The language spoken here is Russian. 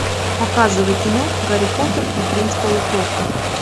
показывай кино гарри поттер и принц полукровка